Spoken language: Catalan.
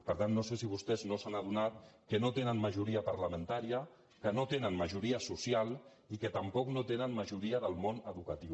per tant no sé si vostès no s’han adonat que no tenen majoria parlamentària que no tenen majoria social i que tampoc no tenen majoria del món educatiu